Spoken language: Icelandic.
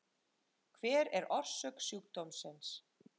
hver er orsök sjúkdómsins